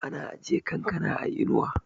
ana ajiye kankana a inuwa